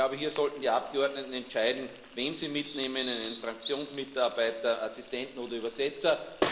Ich glaube, hier sollten die Abgeordneten entscheiden, wen sie mitnehmen einen Fraktionsmitarbeiter, Assistenten oder Übersetzer.